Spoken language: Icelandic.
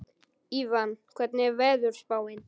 Evan, hvernig er veðurspáin?